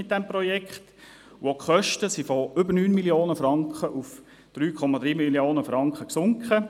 Auch die Kosten sind von über 9 Mio. Franken auf 3,3 Mio. Franken gesunken.